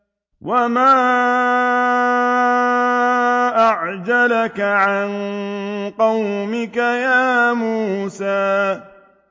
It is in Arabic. ۞ وَمَا أَعْجَلَكَ عَن قَوْمِكَ يَا مُوسَىٰ